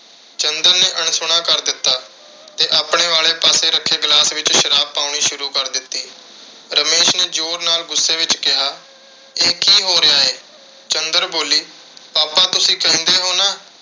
ਚੰਦਰ ਨੇ ਅਣਸੁਣਾ ਕਰ ਦਿੱਤਾ ਤੇ ਆਪਣੇ ਵਾਲੇ ਪਾਸੇ ਰੱਖੇ glass ਵਿੱਚ ਸ਼ਰਾਬ ਪਾਉਣੀ ਸ਼ੁਰੂ ਕਰ ਦਿੱਤੀ। ਰਮੇਸ਼ ਨੇ ਜ਼ੋਰ ਨਾਲ ਗੁੱਸੇ ਵਿੱਚ ਕਿਹਾ, ਇਹ ਕੀ ਹੋ ਰਿਹਾ ਹੈ। ਚੰਦਰ ਬੋਲੀ papa ਤੁਸੀਂ ਕਹਿੰਦੇ ਹੋ ਨਾ ਅਹ